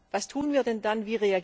Was tun wir denn dann?